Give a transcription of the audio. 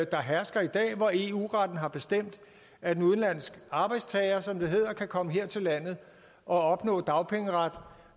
der hersker i dag hvor eu retten har bestemt at en udenlandsk arbejdstager som det hedder kan komme her til landet og opnå dagpengeret